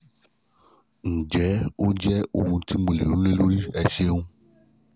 ǹjẹ́ ó jẹ́ ohun ti mo lè ronú lé lórí? ẹ ṣeun